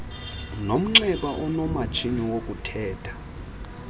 nomnxeba onomatshini wokuthetha